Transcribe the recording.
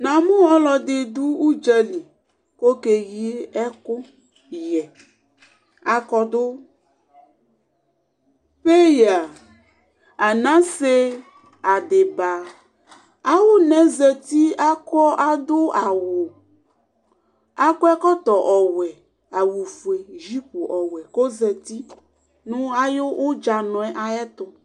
nanu uludi bʊɔtaɛli kukɛyikɔy akonbu tɛya anasɛ adiba ayunazati abuawu akuɛkɔtɛ wɛ awufɛ juɩtu kɔzati nu ayutsătɔ